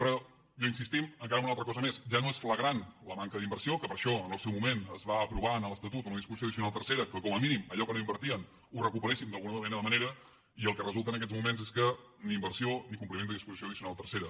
però insistim encara en una altra cosa més ja no és flagrant la manca d’inversió que per això en el seu moment es va aprovar en l’estatut una disposició addicional tercera que com a mínim allò que no invertien ho recuperéssim d’alguna manera i el que resulta en aquests moments és que ni inversió ni compliment de disposició addicional tercera